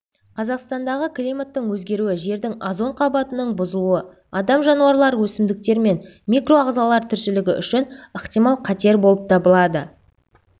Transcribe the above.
казақстандағы климаттың өзгеруі жердің озон қабатының бұзылуы адам жануарлар өсімдіктер мен микроағзалар тіршілігі үшін ықтимал қатер болып табылады